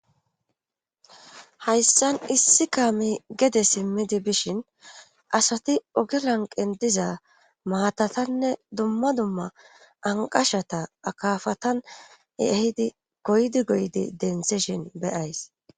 hayssan issi kaami gede simmidi bishin asati oge lanqen diza maatatanne dumma dumma anqashata akafatan ehidi goydi goydi densishin beyays